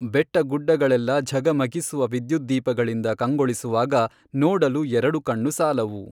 ಬೆಟ್ಟಗುಡ್ಡಗಳೆಲ್ಲ ಝಗಮಗಿಸುವ ವಿದ್ಯುದ್ದೀಪಗಳಿಂದ ಕಂಗೊಳಿಸುವಾಗ ನೋಡಲು ಎರಡು ಕಣ್ಣು ಸಾಲವು.